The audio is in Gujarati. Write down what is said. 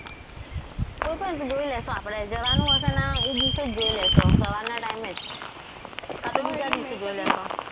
કોઈ પણ જોઈ લઈશું આપણે જવાનું હશે ને એ દિવસે જ જોઈ લઈશું સવારના time એ જ કા તો બીજ દિવસે જોઈ લેશું.